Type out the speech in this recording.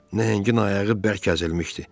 Nəhəngin ayağı bərk əzilmişdi.